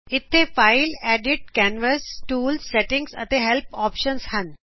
ਇਥੇ file edit canvas run ਟੂਲਜ਼ਸੈਟੀਂਗਜ਼ਅਤੇ help options ਹਨ